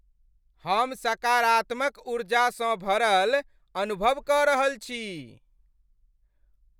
हम सकारात्मक ऊर्जासँ भरल अनुभव कऽ रहल छी।